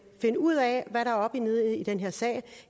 finde ud af hvad der er op og ned i den her sag